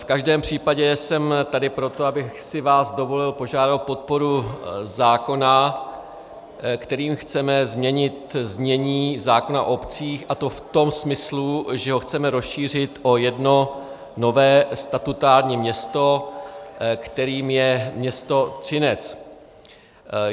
V každém případě jsem tady proto, abych si vás dovolil požádat o podporu zákona, kterým chceme změnit znění zákona o obcích, a to v tom smyslu, že ho chceme rozšířit o jedno nové statutární město, kterým je město Třinec.